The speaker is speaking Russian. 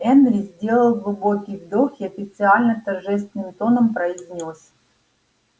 энри сделал глубокий вдох и официально торжественным тоном произнёс